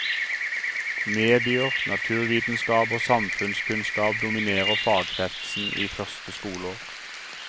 Medier, naturvitenskap og samfunnskunnskap dominerer fagkretsen i første skoleår.